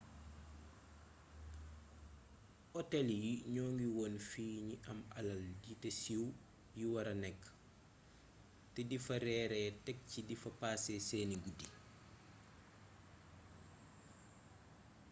otel yii ñoo ngi woon fi ñi am alal yi te siiw yi wara nekk te difa reeree tek ci difa paase seeni guddi